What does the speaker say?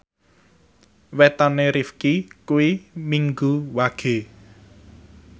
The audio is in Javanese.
wetone Rifqi kuwi Minggu Wage